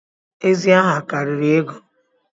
Ezi aha karịrị ego